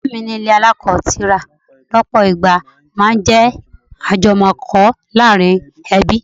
Ọ̀rẹ́ mi ní ilé alako tira lọpọ ìgbà máa ń jẹ́ ajumoko láàárín ẹbí.